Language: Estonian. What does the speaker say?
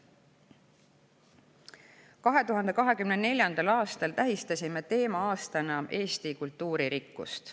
2024. aastal tähistasime teema-aastana Eesti kultuuririkkust.